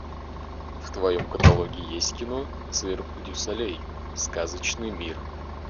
в твоем каталоге есть кино цирк дю солей сказочный мир